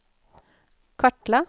kartla